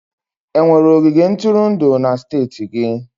Enwere ogige ntụrụndụ na steeti gị?